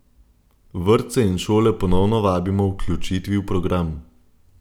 Vrtce in šole ponovno vabimo k vključitvi v program.